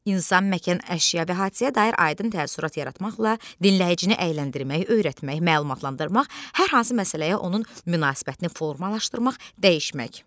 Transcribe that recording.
İnsan, məkan, əşya və hadisəyə dair aydın təəssürat yaratmaqla dinləyicini əyləndirmək, öyrətmək, məlumatlandırmaq, hər hansı məsələyə onun münasibətini formalaşdırmaq, dəyişmək.